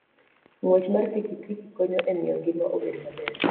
Ng'wech mar pikipiki konyo e miyo ngima obed maber.